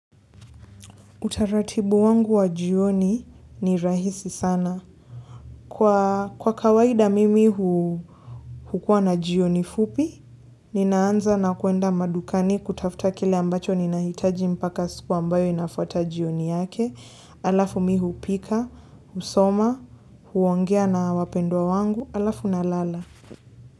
Utaratibu wangu wa jioni ni rahisi sana. Kwa kawaida mimi hukuwa na jioni fupi, ninaanza na kuenda madukani kutafuta kile ambacho ninahitaji mpaka siku ambayo inafuata jioni yake, alafu mimi hupika, husoma, huongea na wapendwa wangu, alafu na lala.